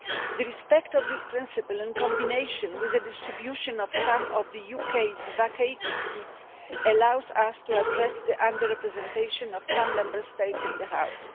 Observance of this principle, in combination with the distribution of some of the UK's vacated seats, allows us to address the under representation of some Member States in the House.